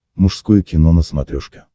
мужское кино на смотрешке